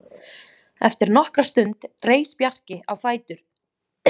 Eftir nokkra stund reis Bjarki á fætur.